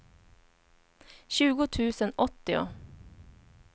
tjugo tusen åttio